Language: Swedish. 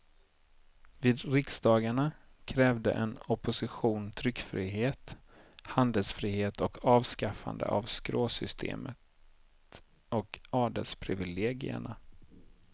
Vid riksdagarna krävde en opposition tryckfrihet, handelsfrihet och avskaffande av skråsystemet och adelsprivilegierna.